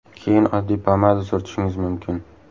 Keyin oddiy pomada surtishingiz mumkin.